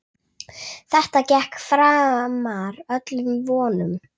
Þetta gekk framar öllum vonum.